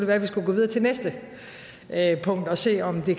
være at vi skulle gå videre til næste punkt og se om det